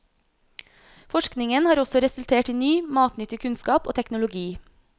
Forskningen har også resultert i ny, matnyttig kunnskap og teknologi.